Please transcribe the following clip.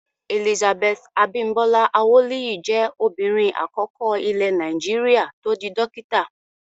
Elizabeth Abimbola Awoliyi jẹ́ obìnrin àkọ́kọ́ ilẹ̀ Nàìjíríà tó di dókítà.